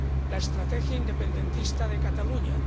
la estrategia independentista de Cataluña.